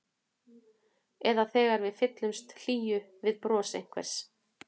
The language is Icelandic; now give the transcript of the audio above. Eða þegar við fyllumst hlýju við bros einhvers.